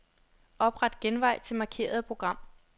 Opret genvej til markerede program.